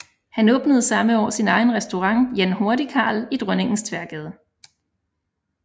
Han åbnede samme år sin egen restaurant Jan Hurtigkarl i Dronningens Tværgade